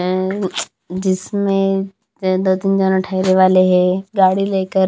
जिसमें जादा दिन जाना ठहरे वाले हैं गाड़ी लेकर--